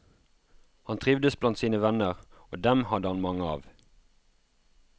Han trivdes blant sine venner, og dem hadde han mange av.